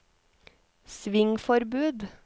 svingforbud